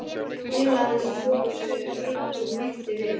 Félagi hans tók á sig rögg og bætti við